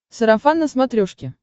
сарафан на смотрешке